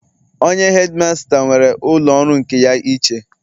Onye hedimasta nwere ụlọ ọrụ nke ya iche